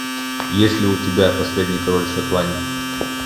есть ли у тебя последний король шотландии